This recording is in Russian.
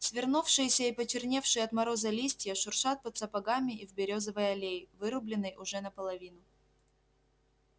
свернувшиеся и почерневшие от мороза листья шуршат под сапогами в берёзовой аллее вырубленной уже наполовину